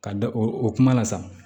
Ka da o o kuma la sa